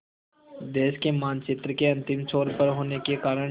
देश के मानचित्र के अंतिम छोर पर होने के कारण